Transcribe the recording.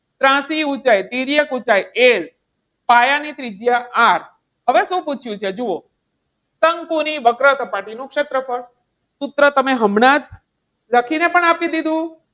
ત્રાસી ઊંચાઈ તિર્યક ઊંચાઈ L પાયાની ત્રિજ્યા R. હવે શું પૂછ્યું છે? જુઓ, શંકુની વક્ર સપાટી નું ક્ષેત્રફળ. સૂત્ર તમે હમણાં જ લખીને પણ આપી દીધું.